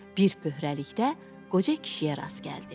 Bir böhranlıqda qoca kişiyə rast gəldi.